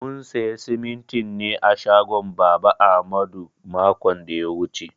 Mun siya simintin ne a shagon baba ahmadu makon da ya wuche.